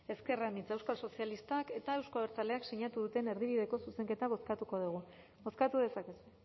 ezker anitza euskal sozialistak eta euzko abertzaleak sinatu duten erdibideko zuzenketa bozkatuko dugu bozkatu dezakegu